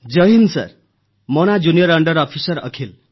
ଜୟ Hind sir ମୋ ନାଁ junior under officer Akhil